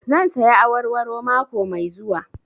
Zan saya awarwaro mako mai zuwa